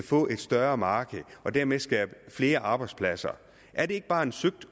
få et større marked og dermed skabe flere arbejdspladser er det ikke bare lidt søgt